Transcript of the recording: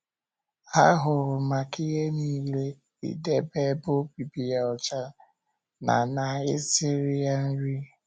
Ha hụrụ maka ihe nile, idebe ebe obibi ya ọcha na na ị siri ya nri.